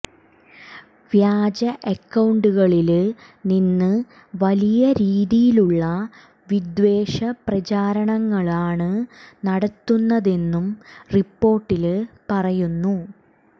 വ്യാജ അക്കൌണ്ടുകളില് നിന്ന് വലിയ രീതിയിലുള്ള വിദ്വേഷ പ്രചരണങ്ങളാണ് നടത്തുന്നതെന്നും റിപ്പോര്ട്ടില് പറയുന്നു